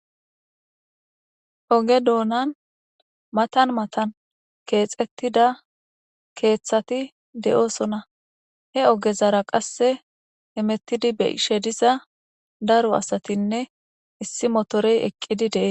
oge doonan matan matan keexettida keeththati de7oosona he ogezara qasse hemettidi beshe diza daro asatinne issi motorey eqqidi dee